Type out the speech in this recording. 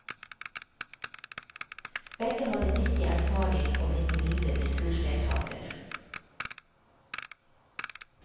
Begge hadde nyttig erfaring å bringe videre til kursdeltakerne.